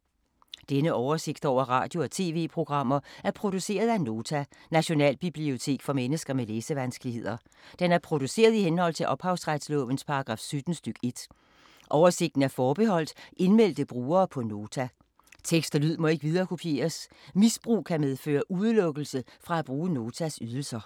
Denne oversigt over radio og TV-programmer er produceret af Nota, Nationalbibliotek for mennesker med læsevanskeligheder. Den er produceret i henhold til ophavsretslovens paragraf 17 stk. 1. Oversigten er forbeholdt indmeldte brugere på Nota. Tekst og lyd må ikke viderekopieres. Misbrug kan medføre udelukkelse fra at bruge Notas ydelser.